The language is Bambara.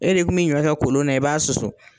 E de kun bi ɲɔ kɛ kolon na i b'a susu